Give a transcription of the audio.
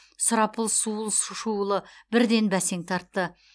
сұрапыл суыл шуылы бірден бәсең тартты